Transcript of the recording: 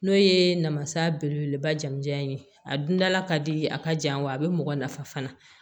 N'o ye namasa belebeleba jamu jan ye a dundala ka di a ka jan wa a be mɔgɔ nafa fana